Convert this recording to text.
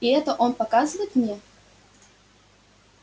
и это он показывает мне